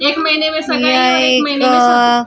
एक महीने में स गए और एक महीने में--